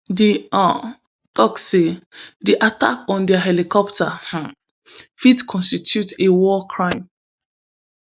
di un tok say di attack on dia helicopter um fit constitute a war crime